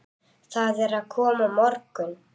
Það er að koma morgunn